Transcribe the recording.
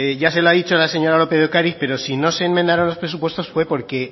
ya se lo ha dicho la señora lópez de ocariz pero si no se enmendaron los presupuestos fue porque